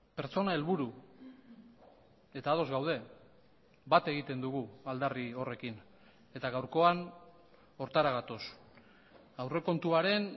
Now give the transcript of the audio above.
pertsona helburu eta ados gaude bat egiten dugu aldarri horrekin eta gaurkoan horretara gatoz aurrekontuaren